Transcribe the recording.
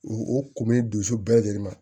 U kumun dusu bɛɛ lajɛlen ma